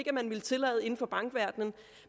at man ville tillade inden for bankverdenen